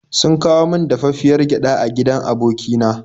Sun kawo min dafaffiyar gyada a gidan aboki na.